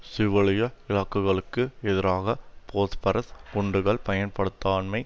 சிவிலிய இலக்குகளுக்கு எதிராக பொஸ்பரஸ் குண்டுகள் பயன்படுத்தான்மை